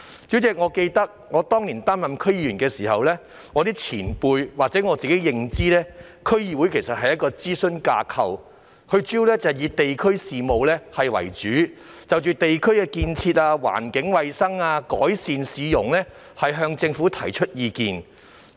主席，我記得當年初任區議員時，有前輩告訴我，加上本身的認知，區議會是一個諮詢架構，主要以地區事務為主，就地區的建設、環境衞生及改善市容等方面向政府提供意見。